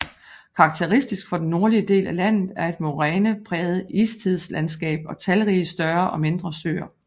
Karakteristisk for den nordlige del af landet er et morænepræget istidslandskab og talrige større og mindre søer